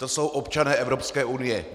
To jsou občané Evropské unie!